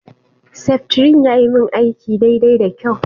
Seftrin yayi min aiki daidai da kyau.